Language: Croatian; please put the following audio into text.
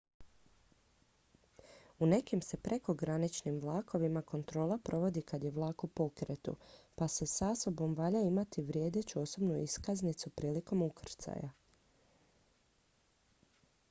u nekim se prekograničnim vlakovima kontrola provodi kad je vlak u pokretu pa sa sobom valja imati vrijedeću osobnu iskaznicu prilikom ukrcaja